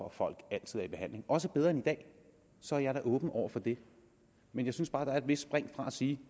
at folk altid er i behandling også bedre end i dag så jeg er da åben over for det men jeg synes bare der er et vist spring fra at sige